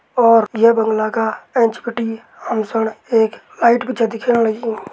और ये बंगला का एंच बिटि हम सण एक लाइट भी छ दिखेण लगीं।